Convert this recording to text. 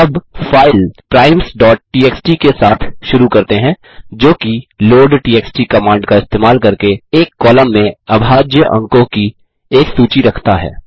अब फाइल primesटीएक्सटी के साथ शुरू करते हैं जोकि लोडटीएक्सटी कमांड का इस्तेमाल करके एक कॉलम में अभाज्य अंकों की एक सूची रखता है